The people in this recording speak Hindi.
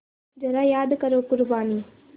ज़रा याद करो क़ुरबानी